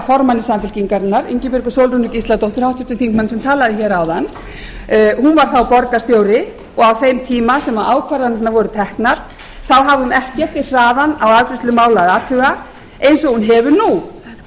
formanni samfylkingarinnar háttvirtur þingmaður ingibjörgu sólrúnu gísladóttur sem talaði hér áðan hún var þá borgarstjóri og á þeim tíma sem ákvarðanirnar voru teknar hafði hún ekkert við hraðann á afgreiðslu mála athuga eins og hún hefur nú og